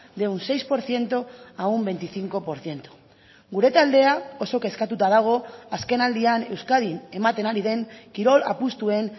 de un seis por ciento a un veinticinco por ciento gure taldea oso kezkatuta dago azken aldian euskadin ematen ari den kirol apustuen